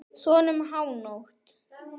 Svona um hánótt.